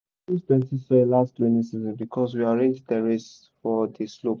we no lose plenty soil last rainy season because we arrange terrace for di slope.